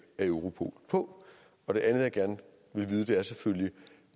af europol på det andet jeg gerne vil vide er selvfølgelig